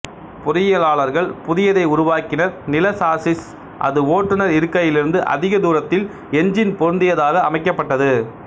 பொறியாளர்கள் புதியதை உருவாக்கினர் நிள சாஸ்ஸிஸ் அது ஓட்டுனர் இருக்கையிலிருந்து அதிகதூரத்தில் என்ஜின் பொறுந்தியதாக அமைக்கப்பட்டது